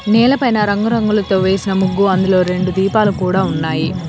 నేల పైన రంగురంగులతో వేసిన ముగ్గు అందులో రెండు దీపాలు కూడా ఉన్నాయి.